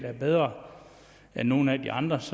er bedre end nogle af de andres